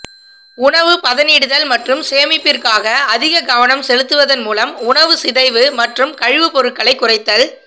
உணவு பதனிடுதல் மற்றும் சேமிப்பிற்காக அதிக கவனம் செலுத்துவதன் மூலம் உணவுச் சிதைவு மற்றும் கழிவுப்பொருட்களை குறைத்தல்